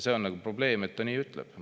See on probleem, et ta nii ütleb.